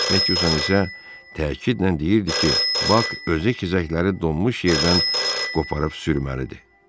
Metyusan isə təkidlə deyirdi ki, Bak özü xizəkləri donmuş yerdən qoparıb sürməlidir.